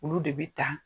Olu de bɛ ta